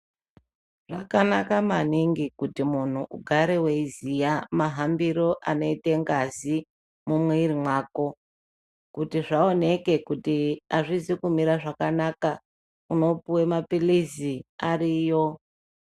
Zvakanaka maningi kuti munhu ugare weiziya mahambiro anoite ngazi mumwiri mwako kuti zvaoneke kuti azvizi kumire zvakanaka unopuwe mapilizi ariyo.